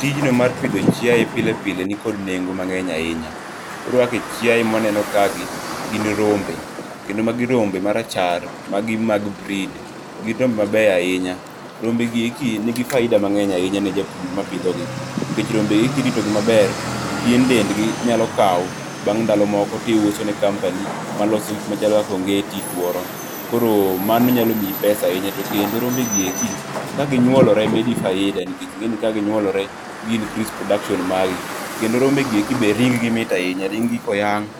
Tijno mar pidho chiaye pile pile nikod nengo mangeny ahinya. Koro kaka chiaye mawaneno kae gi gin rombe, kendo magi rombe marachar, magi mag breed, gin rombe mabeyo ahinya. Rombe gieki nigi faida mangeny ahinya ne japur marito gi nikech rombegi kirito gi maber, pien dendgi inyalo kaw bang' ndalo moko tiuso ne company maloso gik machalo ongeti, tuoro. Koro mano nyalo miyi pesa ahinya. Tokendo rombe gieki ka ginyuolore medi faida, nikech ing'eni ka ginyuolore gi increase production mari. Kendo rombe gieki be ring gi mit ahinya, rimb gi ka oyang',